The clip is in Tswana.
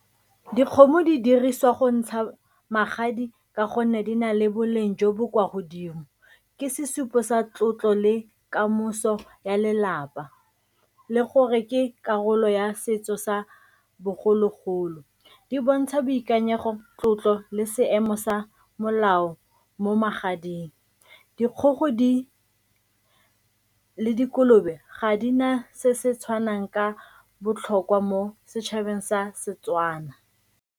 Dikgomo di dirisiwa go ntsha magadi ka gonne di na le boleng jo bo kwa godimo. Ke sesupo sa tlotlo le kamoso ya lelapa le gore ke karolo ya setso sa bogologolo, di bontsha boikanyego, tlotlo le seemo sa molao mo magading. Dikgogo le dikolobe ga di na se se tshwanang ka botlhokwa mo setšhabeng sa Setswana.